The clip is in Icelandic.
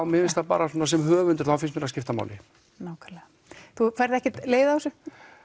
mér finnst það bara svona sem höfundur þá finnst mér það skipta máli nákvæmlega þú færð ekkert leið á þessu